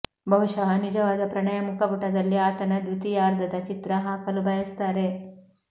ಬಹುಶಃ ನಿಜವಾದ ಪ್ರಣಯ ಮುಖಪುಟದಲ್ಲಿ ಆತನ ದ್ವಿತೀಯಾರ್ಧದ ಚಿತ್ರ ಹಾಕಲು ಬಯಸುತ್ತಾರೆ